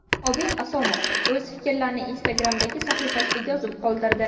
Obid Asomov o‘z fikrlarini Instagram’dagi sahifasida yozib qoldirdi .